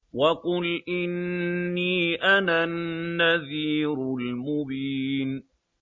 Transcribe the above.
وَقُلْ إِنِّي أَنَا النَّذِيرُ الْمُبِينُ